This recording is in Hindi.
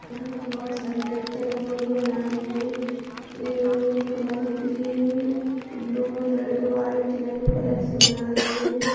यहाँ पे बहोत सारी लड़कियाँ रंगोली बना रही हैं। Rangoli colour green blue red white yellow colour से बना रही हैं।